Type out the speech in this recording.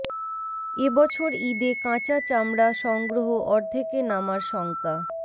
এ বছর ঈদে কাঁচা চামড়া সংগ্রহ অর্ধেকে নামার শঙ্কা